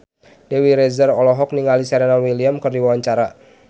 Dewi Rezer olohok ningali Serena Williams keur diwawancara